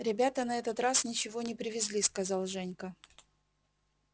ребята на этот раз ничего не привезли сказал женька